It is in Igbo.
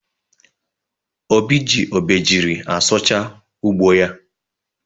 Obi ji obejiri asụcha ugbo ya.